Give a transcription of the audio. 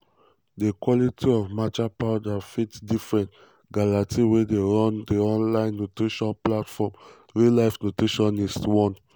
"di quality of matcha powder fit different" galati wey dey run di online nutrition platform real life nutritionist warn.